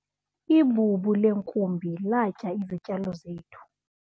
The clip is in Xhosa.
ibubu leenkumbi latya izityalo zethu